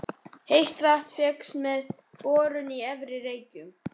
Heitt vatn fékkst með borun á Efri-Reykjum í